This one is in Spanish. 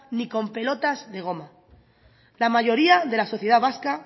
ni con pelotas de goma la mayoría de la sociedad vasca